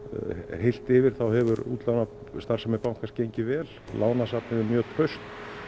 heilt yfir hefur útlánastarfsemi bankans gengið vel lánasafnið er mjög traust